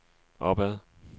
opad